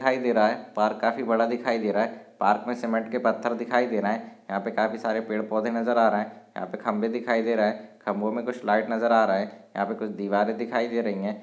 दिखाई दे रहा है पार्क काफी बड़ा दिखाई दे रहा है। पार्क मे सीमेंट के पत्थर दिखाई दे रहे है। यहाँ पे काफी सारे पेड़ पोधों नजर आ रहे है यहाँ पे खंबे दिखाई दे रहे है। खंबों मे कुछ लाइट नजर आ रहे है। यहाँ पे कुछ दीवारें दिखाई दे रही है।